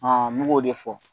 me k'o de fɔ.